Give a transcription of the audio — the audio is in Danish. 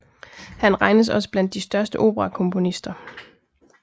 Han regnes også blandt de største operakomponister